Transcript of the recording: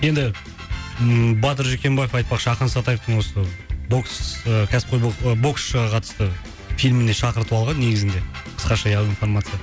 енді ммм батыр жүкенбаев айтпақшы ақын сатаевтың осы бокс кәсіпқой боксшыға қатысты фильміне шақырту алған негізінде қысқаша информация